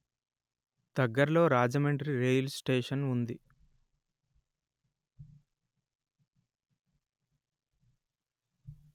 దగ్గరలో రాజమండ్రి రైలుస్టేషన్ ఉంది